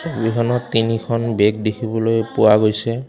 ছবিখনত তিনিখন বেগ দেখিবলৈ পোৱা গৈছে।